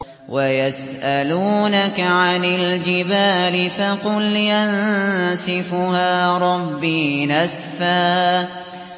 وَيَسْأَلُونَكَ عَنِ الْجِبَالِ فَقُلْ يَنسِفُهَا رَبِّي نَسْفًا